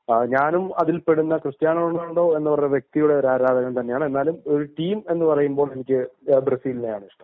ഞാനും അതിൽ പെടുന്ന ക്രിസ്ത്യാനോ റൊണാൾഡോ എന്ന വ്യക്തിയുടെ ആരാധകൻ തന്നെയാണ് എന്നാലും ഒരു ടീം എന്നുപറയുമ്പോൾ ബ്രസീലിനെയാണ് എനിക്ക് ഇഷ്ടം